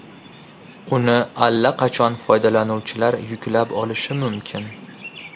Uni allaqachon foydalanuvchilar yuklab olishi mumkin.